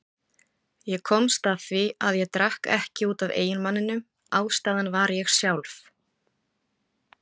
Ég komst að því að ég drakk ekki út af eiginmanninum, ástæðan var ég sjálf.